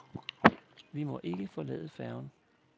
Vi må ikke forlade færgen.